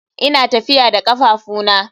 Ina tafiya da kafafuna.